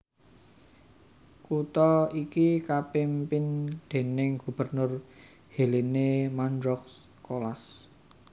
Kutha iki kapimpin déning gubernur Hélène Mandroux Colas